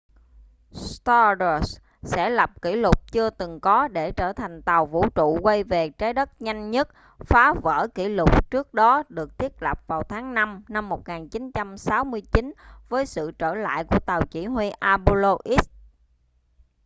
stardust sẽ lập kỷ lục chưa từng có để trở thành tàu vũ trụ quay về trái đất nhanh nhất phá vỡ kỷ lục trước đó được thiết lập vào tháng năm năm 1969 với sự trở lại của tàu chỉ huy apollo x